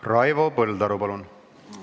Raivo Põldaru, palun!